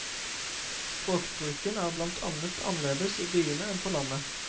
Språkbruken er blant annet annerledes i byene enn på landet.